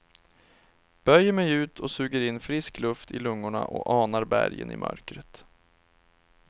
Böjer mig ut och suger in frisk luft i lungorna och anar bergen i mörkret.